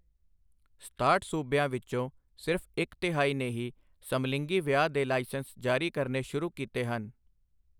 ਸਤਾਹਠ ਸੂਬਿਆਂ ਵਿੱਚੋਂ ਸਿਰਫ ਇੱਕ ਤਿਹਾਈ ਨੇ ਹੀ ਸਮਲਿੰਗੀ ਵਿਆਹ ਦੇ ਲਾਇਸੈਂਸ ਜਾਰੀ ਕਰਨੇ ਸ਼ੁਰੂ ਕੀਤੇ ਹਨ।